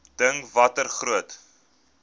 dink watter groot